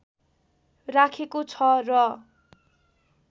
राखेको छ र